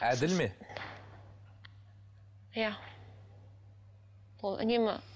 әділ ме иә ол үнемі